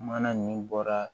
Mana ninnu bɔra